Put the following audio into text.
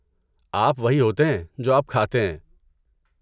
آپ وہی ہوتے ہیں جو آپ کھاتے ہیں۔